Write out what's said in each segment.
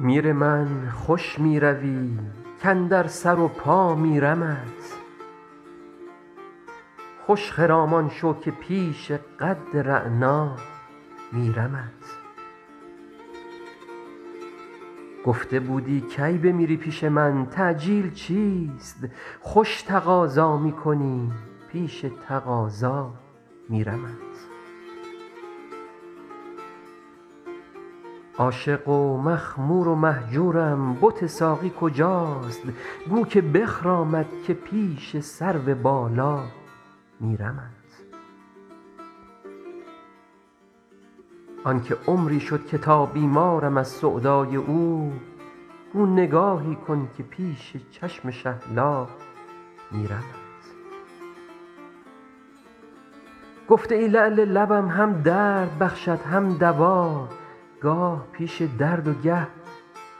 میر من خوش می روی کاندر سر و پا میرمت خوش خرامان شو که پیش قد رعنا میرمت گفته بودی کی بمیری پیش من تعجیل چیست خوش تقاضا می کنی پیش تقاضا میرمت عاشق و مخمور و مهجورم بت ساقی کجاست گو که بخرامد که پیش سرو بالا میرمت آن که عمری شد که تا بیمارم از سودای او گو نگاهی کن که پیش چشم شهلا میرمت گفته ای لعل لبم هم درد بخشد هم دوا گاه پیش درد و گه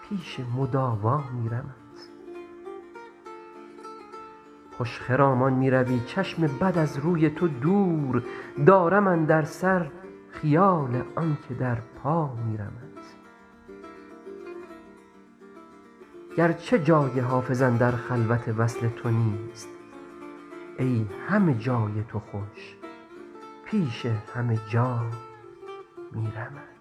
پیش مداوا میرمت خوش خرامان می روی چشم بد از روی تو دور دارم اندر سر خیال آن که در پا میرمت گرچه جای حافظ اندر خلوت وصل تو نیست ای همه جای تو خوش پیش همه جا میرمت